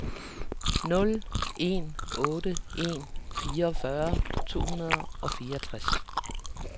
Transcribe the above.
nul en otte en fireogfyrre to hundrede og fireogtres